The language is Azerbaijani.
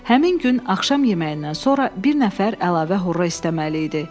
Həmin gün axşam yeməyindən sonra bir nəfər əlavə horra istəməli idi.